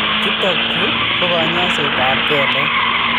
Chutokchu ko kanyoisetab kelek